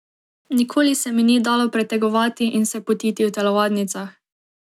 Nikoli se mi ni dalo pretegovati in se potiti v telovadnicah.